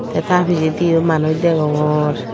tey ta pijedi ow manus degongor.